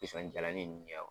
Pisɔn jalanin ninnu